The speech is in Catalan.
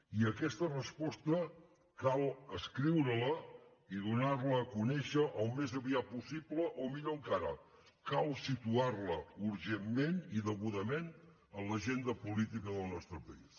i aquesta resposta cal escriure la i donar la a conèixer al més aviat possible o millor encara cal situar la urgentment i degudament a l’agenda política del nostre país